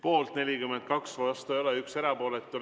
Poolt 42, vastu ei olda ja 1 on erapooletu.